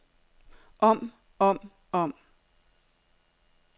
om om om